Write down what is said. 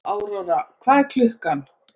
Aurora, hvað er klukkan?